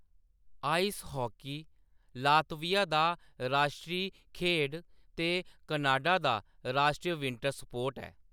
Ice hockey Latvia दा राश्ट्री खेढ ते कनाडा दा राश्टरी विंटर स्पोर्ट ऐ ।